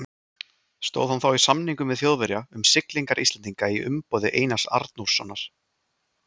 Stóð hann þá í samningum við Þjóðverja um siglingar Íslendinga í umboði Einars Arnórssonar.